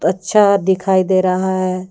अच्छा दिखाई दे रहा है।